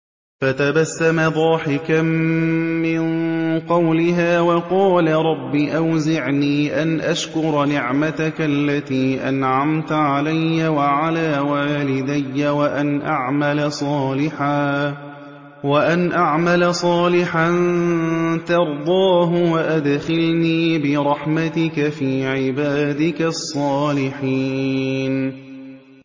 فَتَبَسَّمَ ضَاحِكًا مِّن قَوْلِهَا وَقَالَ رَبِّ أَوْزِعْنِي أَنْ أَشْكُرَ نِعْمَتَكَ الَّتِي أَنْعَمْتَ عَلَيَّ وَعَلَىٰ وَالِدَيَّ وَأَنْ أَعْمَلَ صَالِحًا تَرْضَاهُ وَأَدْخِلْنِي بِرَحْمَتِكَ فِي عِبَادِكَ الصَّالِحِينَ